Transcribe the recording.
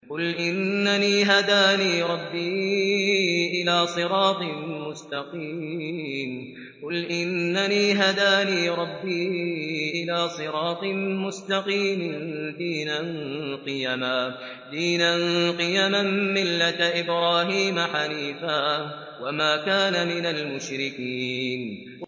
قُلْ إِنَّنِي هَدَانِي رَبِّي إِلَىٰ صِرَاطٍ مُّسْتَقِيمٍ دِينًا قِيَمًا مِّلَّةَ إِبْرَاهِيمَ حَنِيفًا ۚ وَمَا كَانَ مِنَ الْمُشْرِكِينَ